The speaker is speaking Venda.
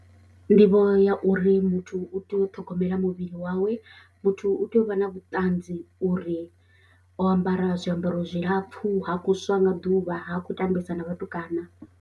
Nḓivho ya uri muthu u tea u ṱhogomela muvhili wawe muthu u tea u vha na vhuṱanzi uri o ambara zwiambaro zwilapfhu ha kho swa nga ḓuvha ha khou tambesa na vhatukana.